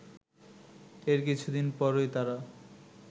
এর কিছুদিন পরই তারা